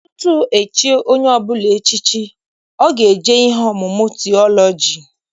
Tutu echie onye ọbụla echichi, ọ ga-eje ihe ọmụmụ tiọlọji.